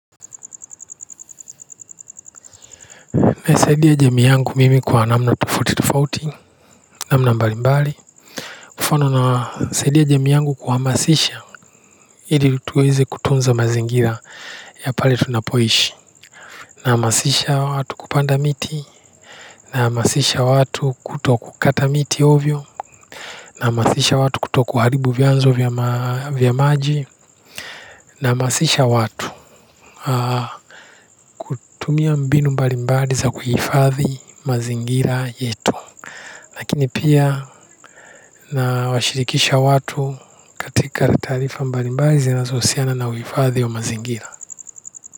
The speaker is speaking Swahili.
Nasaidia jamii yangu kwa namna tofauti tofauti, namna mbalimbali. Napenda kusaidia jamii yangu kuhamasisha ili tuweze kutunza mazingira ya pale tunapoishi. Nahamasisha watu kupanda miti, na kuhamasisha watu kutokata miti ovyo. Nahamasisha watu kutoharibu vyanzo vya maji. Nahamasisha watu kutumia mbinu mbalimbali za kuhifadhi mazingira yetu. Lakini pia, nawashirikisha watu. Katika taarifa mbalimbali zinazohusiana na uhifadhi wa mazingira.